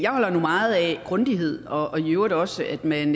holder nu meget af grundighed og i øvrigt også af at man